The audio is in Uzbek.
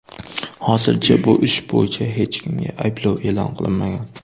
Hozircha bu ish bo‘yicha hech kimga ayblov e’lon qilinmagan.